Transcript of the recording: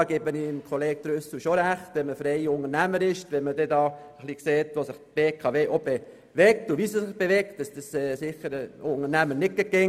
Ich gebe dem Kollegen Trüssel recht: Wenn man freier Unternehmer ist und sieht, wohin sich die BKW bewegt und wie sie sich bewegt, mag dies ein Unternehmer nicht immer mögen.